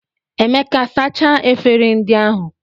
Emeka sachaa efere ndị ahụ